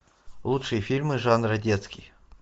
лучшие фильмы жанра детский